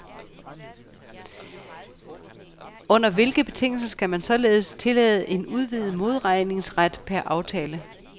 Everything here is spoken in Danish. Under hvilke betingelser skal man således tillade en udvidet modregningsret per aftale?